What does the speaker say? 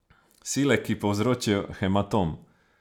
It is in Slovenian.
Sile, ki povzročijo hematom.